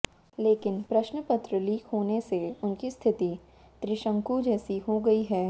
लेकिन प्रश्नपत्र लीक होने से उनकी स्थिति त्रिशंकु जैसी हो गई है